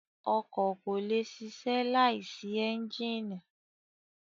Ọkọ̀ kò lè ṣiṣẹ́ láìsí ẹ́ńjínì.